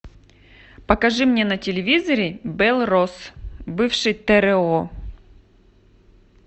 покажи мне на телевизоре белрос бывший тро